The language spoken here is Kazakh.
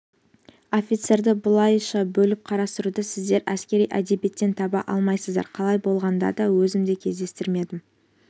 офицерлерді бұлайша бөліп қарастыруды сіздер әскери әдебиеттен таба алмайсыздар қалай болғанда да өзім де кездестірмедім